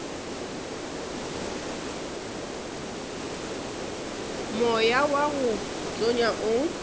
moya wa go tonya o